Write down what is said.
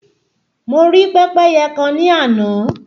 Mo rí pẹ́pẹ́yẹ kan ní àná